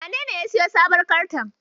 Wanene ya siyo wannan sabuwar Kartar?